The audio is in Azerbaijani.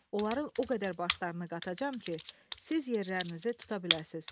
Onların o qədər başlarını qatacam ki, siz yerlərinizi tuta biləsiniz.